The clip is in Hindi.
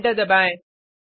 और एंटर दबाएँ